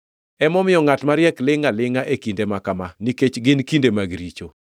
Emomiyo ngʼat mariek lingʼ alingʼa e kinde ma kama nikech gin kinde mag richo.